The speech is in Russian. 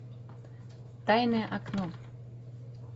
тайное окно